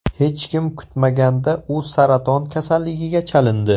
Hech kim kutmaganda u saraton kasalligiga chalindi.